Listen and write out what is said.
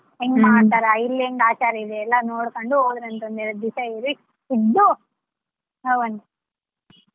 ಹೆಂಗ್ ಮಾಡ್ತಾರ ಇಲ್ಲಿ ಹೆಂಗ್ ಆಚಾರ ಇದೆ ಎಲ್ಲ ನೋಡಕೊಂಡು ಹೊಗ್ರಂತೆ ಒಂದೆರಡು ದಿವಸ ಇರಿ ಇದ್ದು ಹೋಗುವಂತರಿ.